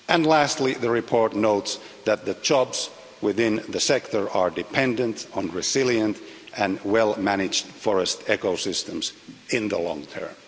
Lastly, the report notes that the jobs within the sector are dependent on resilient and well managed forest ecosystems in the long term.